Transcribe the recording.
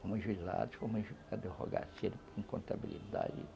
Fomos juizados, fomos contabilidade.